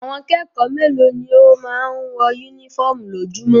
Àwọn kẹ́kọ̀ọ́ mélòó ni ó máa ń wọ únífọ́ọ́mù lójoojúmọ́?